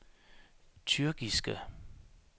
tyrkiske